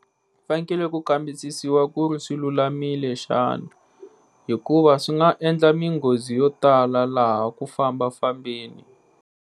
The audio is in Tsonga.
Fanekele ku kambisisiwa ku ri swilulamile xana? Hikuva swi nga endla minghozi yo tala laha ku famba fambeni.